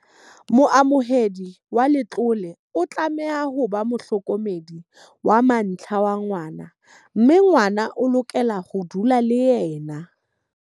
Moamohedi wa letlole o tlameha ho ba mohlokomedi wa mantlha wa ngwana mme ngwana o lokela ho dula le yena.